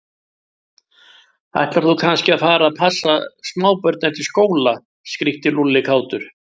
Ætlar þú kannski að fara að passa smábörn eftir skóla? skríkti Lúlli kátur.